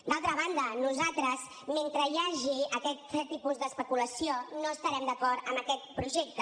d’altra banda nosaltres mentre hi hagi aquest tipus d’especulació no estarem d’acord amb aquest projecte